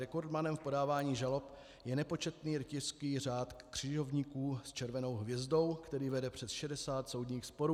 Rekordmanem v podávání žalob je nepočetný rytířský řád křižovníků s červenou hvězdou, který vede přes 60 soudních sporů.